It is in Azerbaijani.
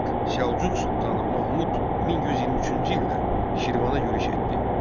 İraq Səlcuq sultanı Mahmud 1123-cü ildə Şirvana yürüş etdi.